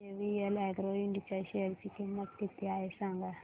आज JVL agro ind च्या share ची किंमत किती आहे सांगा